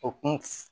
O kun f